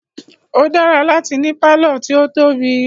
O dára láti ní pálọ̀ tí o tóbi.